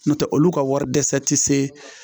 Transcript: N'o tɛ olu ka wari dɛsɛ tɛ se